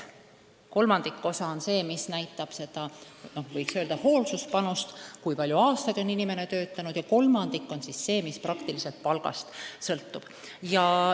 Kolmandik pensionist on see, mis näitab n-ö hoolsuspanust, seda, kui palju aastaid on inimene töötanud, ja kolmandik on see, mis palgast sõltub.